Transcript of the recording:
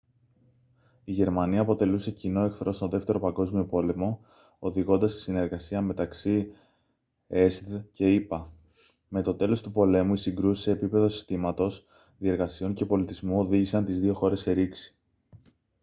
η γερμανία αποτελούσε κοινό εχθρό στον 2ο παγκόσμιο πόλεμο οδηγώντας στη συνεργασία μεταξύ εσσδ και ηπα με το τέλος του πολέμου οι συγκρούσεις σε επίπεδο συστήματος διεργασιών και πολιτισμού οδήγησαν τις δύο χώρες σε ρήξη